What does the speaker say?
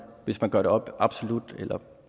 hvis man gør det op absolut eller